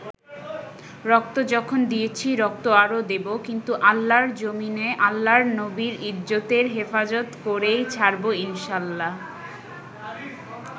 রক্ত যখন দিয়েছি, রক্ত আরো দেবো, কিন্তু আল্লাহর জমিনে আল্লাহর নবীর ইজ্জতের হেফাজত করেই ছাড়বো ইনশাল্লাহ।